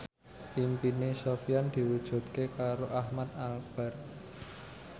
impine Sofyan diwujudke karo Ahmad Albar